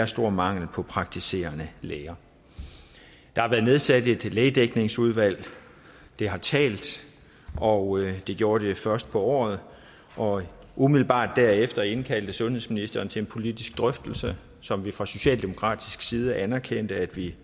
stor mangel på praktiserende læger der har været nedsat et lægedækningsudvalg det har talt og det gjorde det først på året året umiddelbart derefter indkaldte sundhedsministeren til en politisk drøftelse som vi fra socialdemokratisk side anerkendte at vi